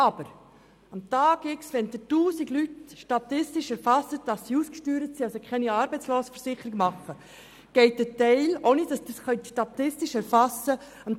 Aber von den 1000 Personen, die Sie am Tag X statistisch erfassen, die ausgesteuert sind und daher keine Arbeitslosenversicherung mehr haben können, geht am Tag X plus 100 ein Teil in die IV, ohne dass Sie diese Personen statistisch erfassen können.